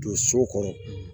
Don so kɔnɔ